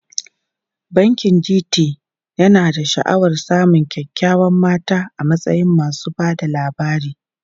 Bankin GT yana sha'awar samun kyawawan mata a matsayin masu ba da labari.